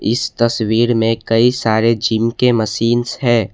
इस तस्वीर मे कई सारे जिम के मशीन्स है।